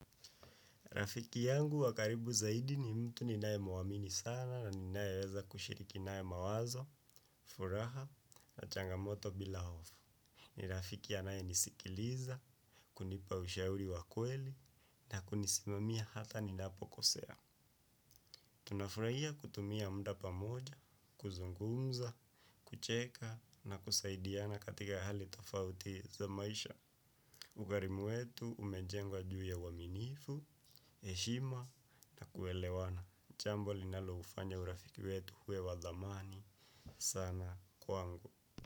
Rafiki yangu wa karibu zaidi ni mtu ninaye mwamini sana na ninaye weza kushiriki naye mawazo, furaha na changamoto bila hofu. Ni rafiki anayenisikiliza, kunipa ushauri wa kweli na kunisimamia hata ninapokosea. Tuna furahia kutumia muda pamoja, kuzungumza, kucheka na kusaidiana katika hali tofauti za maisha. Ugharimu wetu umejengwa juu ya uaminifu, heshima na kuelewana jambo linaloufanya urafiki wetu uwe wa dhamani sana kwangu.